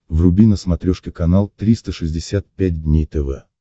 вруби на смотрешке канал триста шестьдесят пять дней тв